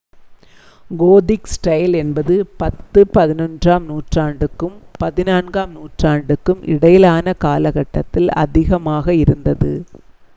Gothic style என்பது 10 - 11-ஆம் நூற்றாண்டுக்கும் 14-ஆம் நூற்றாண்டிற்கும் இடையிலான காலகட்டத்தில் அதிகமாக இருந்தது